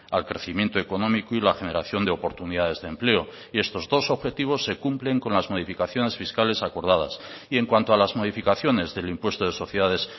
al crecimiento económico y la generación de oportunidades de empleo y estos dos objetivos se cumplen con las modificaciones fiscales acordadas y en cuanto a las modificaciones del impuesto de sociedades